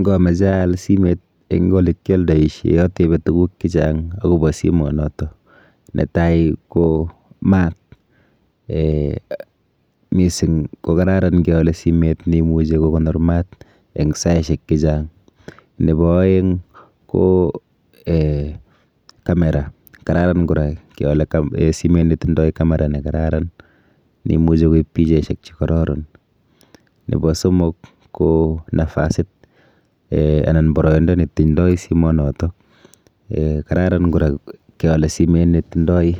Ngameche aal simet eng olekioldoishe atebe tuguk chechang akopo simonoto, netai ko mat. um Mising ko kararan keole simet neimuchi kokonor mat eng saishek chechang. Nepo oeng ko camera kararan kora keole simet netindoi camera nekararan neimuchi koip pichaishek chekororon. Nepo somok ko nafasit um anan ko poroindo netindoi simonoto. [um]Kararan kora keole simet netindoi